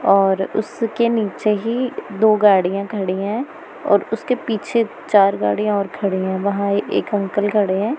और उसके नीचे ही दो गाड़ियां खड़ी हैं और उसके पीछे चार गाड़ियां और खड़ी हैं वहां एक अंकल खड़े हैं।